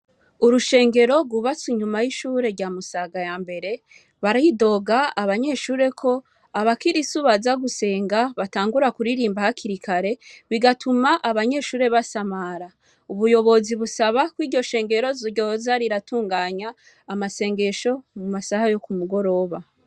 Urushengero rwubatse inyuma y'ishure rya Musaga ya mbere baridoga abanyeshure abakirisu baza gusenga batangura kuririmba hakiri kare bigatuma abanyeshure basamara. Ubuyobozi busaba ko iryo shengero ryoza riratunganya amasengesho mu masha yo ku mugoroba.